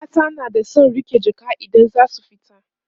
mata na da San riƙe Jaka idan zasu fita